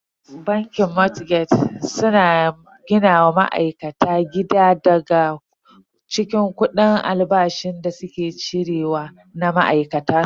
Bankin motgeg suna gina wa ma'aikata gida daga cikin kudi albashin da suke cire wa na ma'aikata.